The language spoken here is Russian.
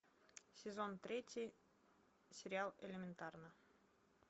сезон третий сериал элементарно